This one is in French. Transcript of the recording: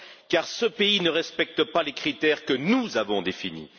Car ce pays ne respecte pas les critères que nous avons définis.